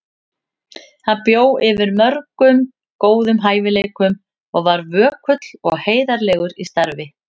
Hann bjó yfir mörgum góðum hæfileikum og var vökull og heiðarlegur í starfi.